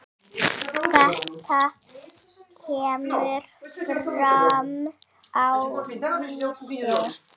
Þetta kemur fram á Vísi.